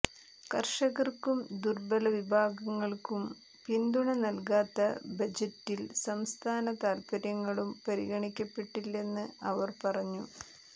കർഷകർക്കും ദുർബലവിഭാഗങ്ങൾക്കും പിന്തുണ നൽകാത്ത ബജറ്റിൽ സംസ്ഥാന താൽപര്യങ്ങളും പരിഗണിക്കപ്പെട്ടില്ലെന്ന് അവർ പറഞ്ഞു